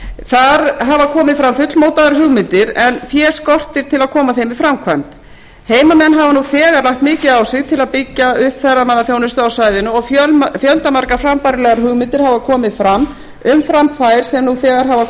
þar hafa komið fram fullmótaðar hugmyndir en fé skortir til að koma þeim í framkvæmd heimamenn hafa nú þegar lagt mikið á sig til að byggja upp ferðamannaþjónustu á svæðinu og fjöldamargar frambærilegar hugmyndir hafa komið fram umfram þær sem nú þegar hafa